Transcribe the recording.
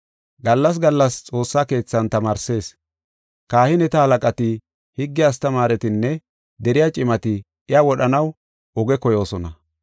Gallas gallas xoossa keethan tamaarsees. Kahineta halaqati, higge astamaaretinne deriya cimati iya wodhanaw oge koyoosona.